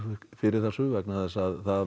fyrir þessu vegna þess að það